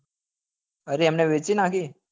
અરે એમને વેચી નાખી